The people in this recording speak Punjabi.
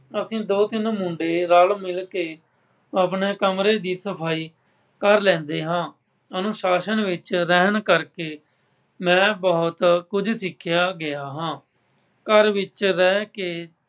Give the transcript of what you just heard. ਅਸੀਂ ਦੋ ਤਿੰਨ ਮੁੰਡੇ ਰਲ ਮਿਲਕੇ ਆਪਣਾ ਕਮਰੇ ਦੀ ਸਫਾਈ ਕਰ ਲੈਂਦੇ ਹਾਂ। ਅਨੁਸਾਸ਼ਨ ਵਿੱਚ ਰਹਿਣ ਕਕਰੇ ਮੈਂ ਬਹੁਤ ਕੁੱਝ ਸਿੱਖਿਆ ਗਿਆ ਹਾਂ। ਘਰ ਵਿੱਚ ਰਹਿ ਕੇ